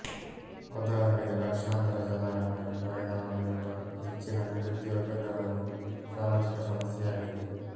ಉದಾಹರಣೆಗೆ ಲಕ್ಷಾಂತರ ಜನರ ಮೇಲೆ ಪರಿಣಾಮ ಬೀರುವ ಹೆಚ್ಚಿನ ನಿರುದ್ಯೋಗ ದರವು ಸಾಮಾಜಿಕ ಸಮಸ್ಯೆಯಾಗಿದೆ